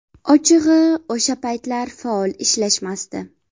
Ochig‘i, o‘sha paytlar faol ishlashmasdi.